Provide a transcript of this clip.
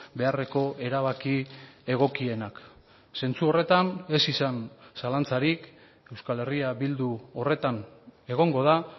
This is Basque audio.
beharreko erabaki egokienak zentzu horretan ez izan zalantzarik euskal herria bildu horretan egongo da